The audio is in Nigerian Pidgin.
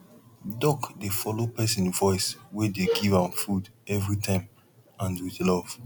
duck dey follow pesin voice wey dey give am food every time and with love